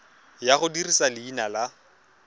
ya go dirisa leina la